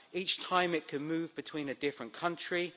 Each time, it can move between different countries.